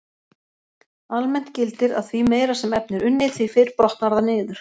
Almennt gildir að því meira sem efni er unnið, því fyrr brotnar það niður.